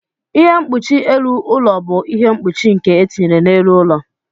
Ihe mkpuchi elu ụlọ bụ ihe mkpuchi nke etinyere n'elu ụlọ.